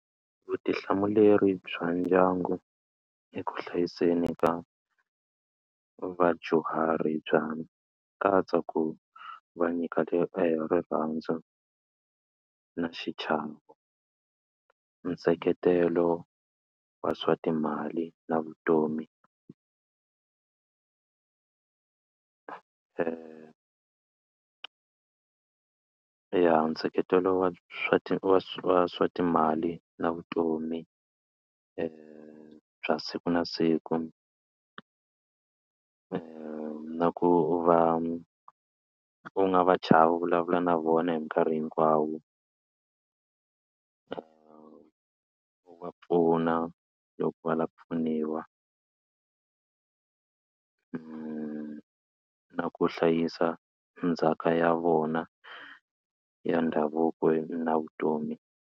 Vutihlamuleri bya ndyangu eku hlayiseni ka vadyuhari bya katsa ku va nyika rirhandzu na xichavo, nseketelo wa swa timali na vutomi ya nseketelo wa swa wa swa wa swa timali na vutomi bya siku na siku na ku u va u nga va chavi u vulavula na vona hi mikarhi hinkwawo u wa pfuna loko va lava ku pfuniwa na ku hlayisa ndzhaka ya vona ya ndhavuko na vutomi.